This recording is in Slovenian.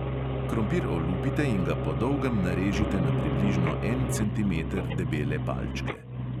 Krompir olupite in ga po dolgem narežite na približno en centimeter debele palčke.